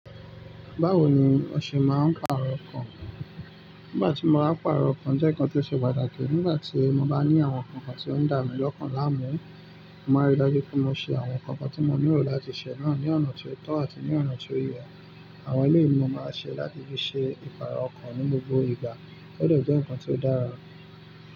Báwo ni o ṣe máa ń pàrọ̀ ọkàn? Nígbà tí mo bá pàrọ̀ ọkàn, jẹ́ nǹkan tí ó ṣe pàtàkì. Nígbà tí mo bá ní àwọn nǹkan kan tí ó ń dà mí lọ́kàn láàmú, mo máa rí i dájú pé mo ṣe àwọn nǹkan kan tí mo nílò láti ṣe náà ní ọ̀nà tí ó tọ́ àti ní ọ̀nà tí ó yẹ. Àwọn èléyii ni mo máa ṣe láti fi ṣe ìpààrọ̀ ọkàn ní gbogbo ìgbà. Ó de jẹ́ nǹkan tí ó dára.